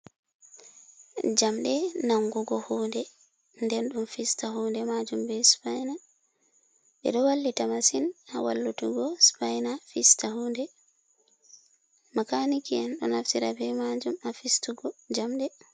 Jamɗee nangugo hunde nden ɗon fista hunde majum be spaina, be do wallita masin ha wallutugo spaina fista hude, makaniki 'en ɗo naftira be majum ha fistugo jamɗe.